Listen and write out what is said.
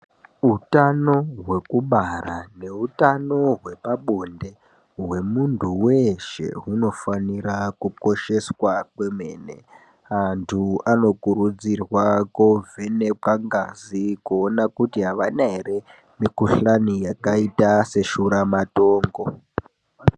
Utano hweku bara ne utano hwepa bonde hwe muntu weshe huno fanira ku kosheswa kwemene antu anokurudzirwa ko vhenekwa ngazi kuona kuti avana ere mi kuhlani yakaita se shura matongo.